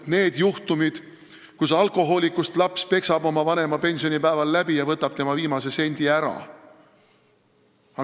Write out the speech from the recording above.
... need juhtumid, kui alkohoolikust laps peksab oma vanema pensionipäeval läbi ja võtab tema viimase sendi ära.